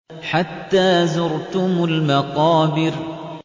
حَتَّىٰ زُرْتُمُ الْمَقَابِرَ